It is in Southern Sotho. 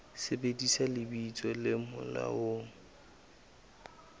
sebedisa lebitso le molaong le